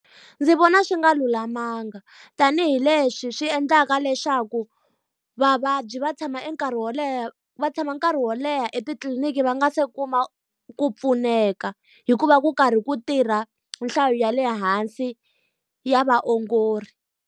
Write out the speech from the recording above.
Ndzi vona swi nga lulamanga, tanihileswi swi endlaka leswaku vavabyi va tshama e nkarhi wo leha va tshama nkarhi wo leha etitliliniki va nga se kuma ku pfuneka. Hi ku va ku karhi ku tirha nhlayo ya le hansi ya vaongori.